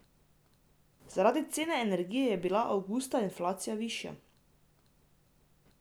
Zaradi cen energije je bila avgusta inflacija višja.